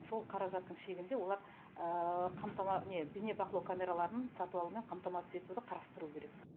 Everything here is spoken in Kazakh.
сол қаражаттың шегінде олар бейнебақылау камераларын сатып алумен қамтамасыз етуді қарастыруы керек